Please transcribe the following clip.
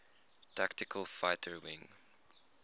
tactical fighter wing